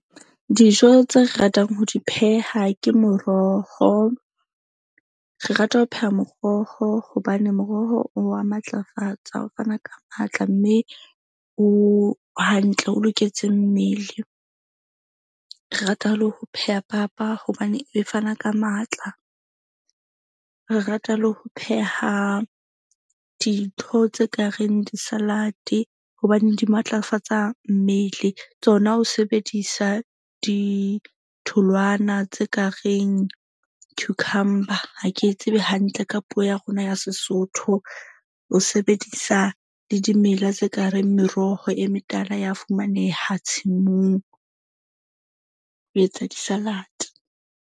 Dijo tse re ratang ho di pheha ke moroho. Re rata ho pheha moroho hobane moroho o wa matlafatsa o fana ka matla. Mme o hantle o loketse mmele. Re rata le ho pheha papa hobane e fana ka matla. Re rata le ho pheha dintho tse kareng di-salad-e hobaneng di matlafatsa mmele. Tsona o sebedisa ditholwana tse ka reng cucumber. Ha ke tsebe hantle ka puo ya rona ya Sesotho. O sebedisa le dimela tse kareng meroho e metala ya fumaneha tshimong ho etsa di-salad.